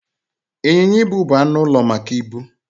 Ịnyịnya ibu bụ anụ ụlọ maka ibu.